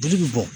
Dili bɛ bɔn